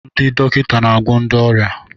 Ndị dọkịta na-agwọ ndị ọrịa